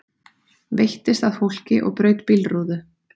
Veittist að fólki og braut bílrúðu